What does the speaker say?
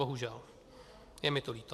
Bohužel, je mi to líto.